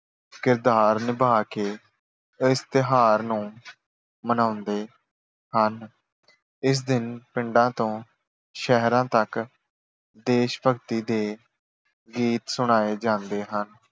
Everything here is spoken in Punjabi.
ਕਿਰਦਾਰ ਨਿਭਾ ਕੇ ਇਸ ਤਿਉਹਾਰ ਨੂੰ ਮਨਾਉਂਦੇ ਹਨ। ਇਸ ਦਿਨ ਪਿੰਡਾਂ ਤੋਂ ਸ਼ਹਿਰਾਂ ਤੱਕ ਦੇਸ਼ ਭਗਤੀ ਦੇ ਗੀਤ ਸੁਣਾਏ ਜਾਂਦੇ ਹਨ।